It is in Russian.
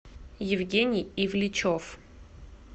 евгений ивличев